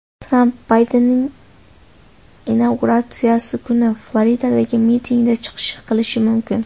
Tramp Baydenning inauguratsiyasi kuni Floridadagi mitingda chiqish qilishi mumkin.